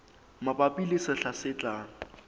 mabapi le sehla se tlang